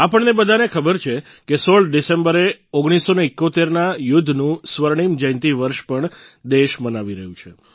આપણને બધાને ખબર છે કે 16 ડિસેમ્બરે 1971 ના યુદ્ધનું સ્વર્ણિમ જયંતિ વર્ષ પણ દેશ મનાવી રહ્યો છે